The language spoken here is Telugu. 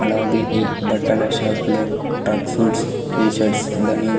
అలాగే ఈ బట్టల షాప్ లో టక్ సూట్స్ టీ షర్ట్స్ బనీన్--